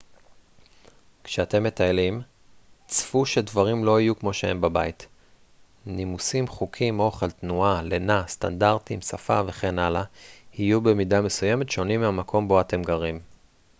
כשאתם מטיילים צפו שדברים לא יהיו כמו שהם בבית נימוסים חוקים אוכל תנועה לינה סטנדרטים שפה וכן הלאה יהיו במידה מסוימת שונים מהמקום בו אתם גרים